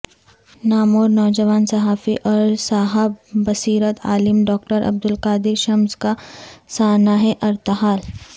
نامور نوجوان صحافی اور صاحب بصیرت عالم ڈاکٹر عبد القادر شمس کا سانحہ ارتحال